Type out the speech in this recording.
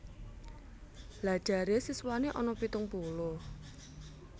Lha jare siswane ana pitung puluh